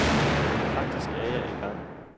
Faktisk er jeg i gang.